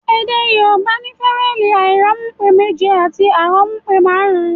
Èdè Yorùbá ní fawẹẹli airanmupe méje àti aranmupe marun-un